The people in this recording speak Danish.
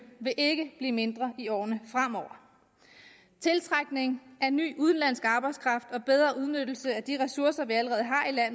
vil ikke blive mindre i årene fremover tiltrækning af ny udenlandsk arbejdskraft og bedre udnyttelse af de ressourcer vi allerede